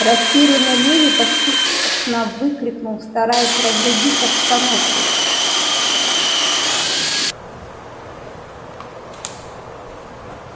растерянный леви поспешно выкрикнул стараясь разрядить обстановку